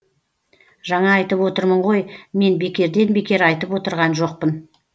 жаңа айтып отырмын ғой мен бекерден бекер айтып отырған жоқпын